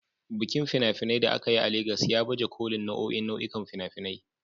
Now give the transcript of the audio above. Bikin fina-finai da aka yi a Legas ya baje kolin nau'o'in nau'ikan fina-finai